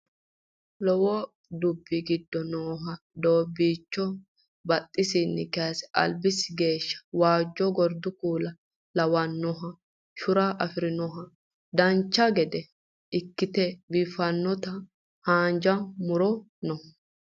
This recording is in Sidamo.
Lowo dubbi giddo nooha doobbiicho badhesinni kayse albisi geeshsha waajjo gordu kuula lawannoha shura afirinohanna dancha gede ikkite biiffinota haanja muro no